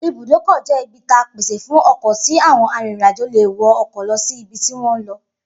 Ibùdókò̩ jé̩ ibi ta pèsè fún o̩kò̩ tí àwo̩n arìnrìnàjò lè wo̩ o̩kò̩ lo̩ sí ibi tí wó̩n ń lo̩